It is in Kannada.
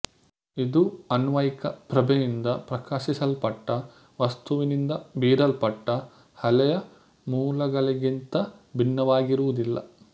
ಇದು ಅನ್ವಯಿಕ ಪ್ರಭೆಯಿಂದ ಪ್ರಕಾಶಿಸಲ್ಪಟ್ಟ ವಸ್ತುವಿನಿಂದ ಬೀರಲ್ಪಟ್ಟ ಅಲೆಯ ಮೂಲಗಳಿಗಿಂತ ಭಿನ್ನವಾಗಿರುವುದಿಲ್ಲ